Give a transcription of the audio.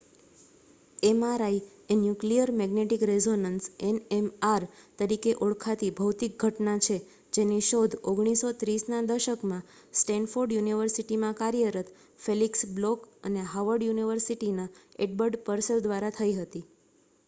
mri એ nuclear magnetic resonance nmr તરીકે ઓળખાતી ભૌતિક ઘટના છે જેની શોધ 1930ના દશકમાં સ્ટૅન્ફૉર્ડ યુનિવર્સિટીમાં કાર્યરત ફેલિક્સ બ્લૉક અને હાર્વર્ડ યુનિવર્સિટીના એડ્બર્ડ પર્સેલ દ્વારા થઈ હતી